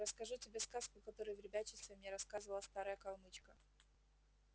расскажу тебе сказку которую в ребячестве мне рассказывала старая калмычка